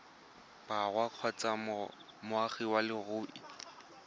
borwa kgotsa moagi wa leruri